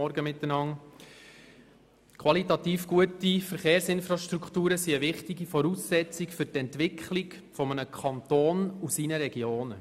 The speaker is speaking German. Qualitativ gute Verkehrsinfrastrukturen sind eine wichtige Voraussetzung für die Entwicklung eines Kantons und seiner Regionen.